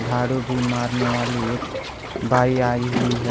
झाड़ू भी मारने वाली एक बाई आई हुई है।